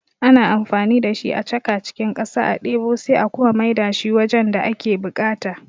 Ana amfani da shi a chaka cikin ƙasa a ɗebo sai a kuma mai da shi wajen da ake buƙata